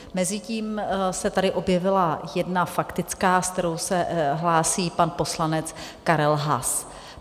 Mezitím se tady objevila jedna faktická, se kterou se hlásí pan poslanec Karel Haas.